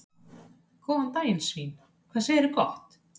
Góðan daginn svín, hvað segirðu gott?